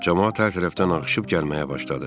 Camaat hər tərəfdən axışıb gəlməyə başladı.